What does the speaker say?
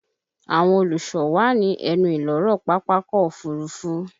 Àwọn olùsọ wà ní ẹnu ìloro Pápákọ̀ Òfurufú